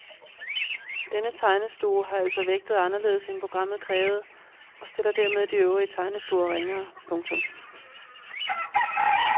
Denne tegnestue har altså vægtet anderledes end programmet krævede og stiller dermed de øvrige tegnestuer ringere. punktum